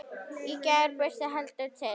Í gær birti heldur til.